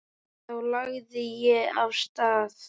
Þá lagði ég af stað.